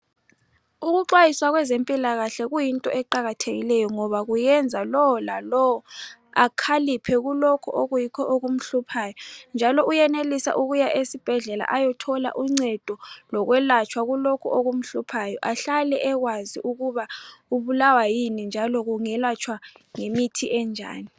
Ukuxwayiswa kwezempilakahle kuyinto eqakathekileyo ngoba kuyenza lowo lalowo akhaliphe kulokhu okuyikho okumhluphayo njalo uyenelisa ukuya esibhedlela ayothola uncedo lokwelatshwa kulokhu okumhluphayo ahlale ekwazi ukuba ubulawa yini njalo kungelatshwa ngemithi enjani